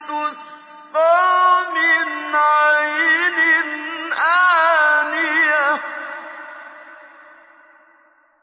تُسْقَىٰ مِنْ عَيْنٍ آنِيَةٍ